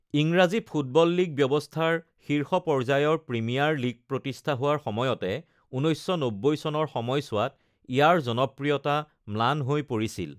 ইংৰাজী football league ব্যৱস্থাৰ শীৰ্ষ পৰ্যায় প্ৰিমিয়াৰ লীগ প্ৰতিষ্ঠা হোৱাৰ সময়তে ১৯৯০ চনৰ সময়ছোৱাত ইয়াৰ জনপ্ৰিয়তা ম্লান হৈ পৰিছিল।